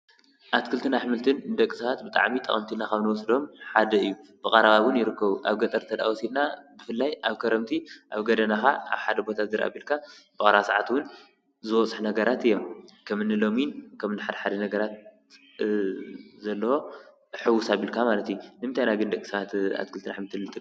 ኣትክልትና ኣሕምልትን ንደቂ ሰባት ብጣዕሚ ጠቐምቲ ኢልና ኻብ ንወስዶም ሓደ ኢዩ፡፡ ብቐረባ ውን ይርከቡ ኣብ ገጠር ተደኣወሲድና ብፍላይ ኣብ ከረምቲ ኣብ ጎደናኻ ኣብሓደ ቦታ ዝርእ ኣቢልካ ኣብ ቕረባ ሰዓት ውን ዝበፅሕ ነገራት እየም፡፡ ከምኒ ሎሚን ከምኒ ሓድ ሓደ ነገራት ዘለዎ ሕውስ ኣቢልካ ማለት እዩ፡፡ ንምንታይ ግን ደቂ ሰባት ኣትክልትን ኣሕምልትን ንጥቀም?